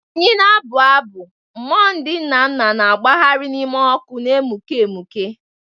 Anyị na-abụ abụ, mmụọ ndị nna nna na-agbagharị n'ime ọkụ na emuke emuke.